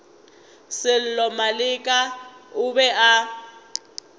sello maleka o be a